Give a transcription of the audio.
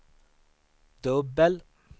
dubbel